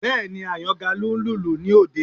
Bẹ́ẹ̀ni, Àyàngalú ń lùlù ní òde